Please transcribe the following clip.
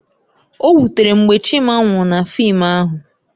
O wutere m mgbe Chima nwụrụ na fịịm ahụ